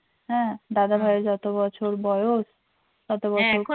হ্যাঁ দাদাভাই যত বছর বয়স তত বছর